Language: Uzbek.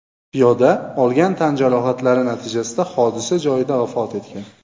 Piyoda olgan tan jarohatlari natijasida hodisa joyida vafot etgan.